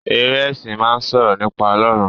Eré esin máa n sọ̀rọ̀ nípa Ọlọrun.